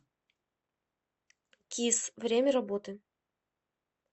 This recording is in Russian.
кисс время работы